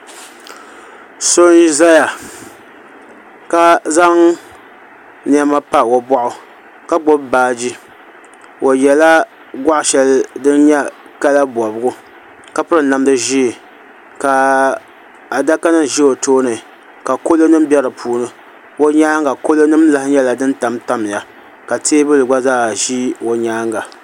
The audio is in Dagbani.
So n zaya ka zaŋ nɛma n pa o bɔɣu ka gbubi baaji o yiɛla gɔɣi shɛli din I yɛ kala bɔbigu ka piri namda zɛɛ ka adaka nimazɛ o tooni ka kalo nim bɛ di puuni o yɛanga ka kalo nim lahi tam tamiya ka tɛɛbuli gba zaa zi o yɛanga.